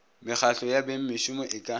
mekgahlo ya bengmešomo e ka